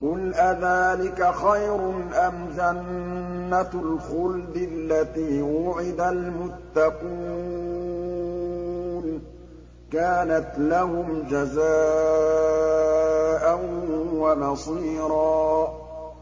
قُلْ أَذَٰلِكَ خَيْرٌ أَمْ جَنَّةُ الْخُلْدِ الَّتِي وُعِدَ الْمُتَّقُونَ ۚ كَانَتْ لَهُمْ جَزَاءً وَمَصِيرًا